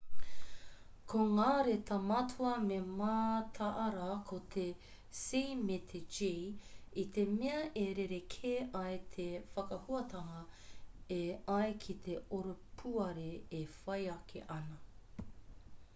ko ngā reta matua me mataara ko te c me te g i te mea e rerekē ai te whakahuatanga e ai ki te oropuare e whai ake ana